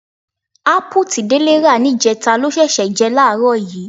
Ápù tí Délé rà níjẹta ló ṣẹ̀ṣẹ̀ jẹ láàárọ̀ yìí.